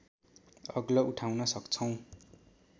अग्लो उठाउन सक्छौँ